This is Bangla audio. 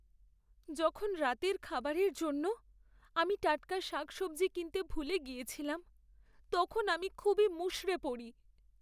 যখন রাতের খাবারের জন্য আমি টাটকা শাক সবজি কিনতে ভুলে গিয়েছিলাম, তখন আমি খুবই মুষড়ে পড়ি।